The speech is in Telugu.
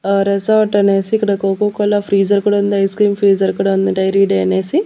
ఆ రీసార్ట్ అనేసి ఇక్కడ కోకా కోలా ఫ్రీజర్ కూడా ఉంది ఐస్క్రీం ఫ్రీజర్ కూడా ఉంది డైరీ డే అనేసి.